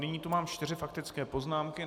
Nyní tu mám čtyři faktické poznámky.